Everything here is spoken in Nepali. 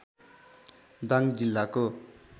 दाङ जिल्लाको